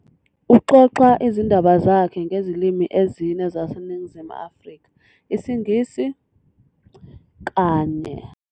Uxoxa izindaba zakhe ngezilimi ezine zaseNingizimu Afrika, isiNgisi, kanye.